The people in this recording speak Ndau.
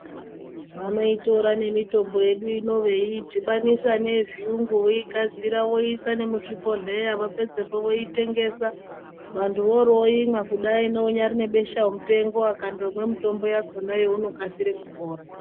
Vanotora nemitombo yedu ino veidhibanisa neyezvirungu veigadzira voisa nemuzvibhohleya vapedzapo voitengesa vantu vobaimwa kudaroko neane besha mupengo akandomwa mutombo uwowo anokasira kupona.